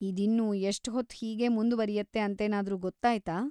ಇದಿನ್ನೂ‌ ಎಷ್ಟ್‌ ಹೊತ್ತು ಹೀಗೇ ಮುಂದ್ವರಿಯತ್ತೆ ಅಂತೇನಾದ್ರೂ ಗೊತ್ತಾಯ್ತಾ?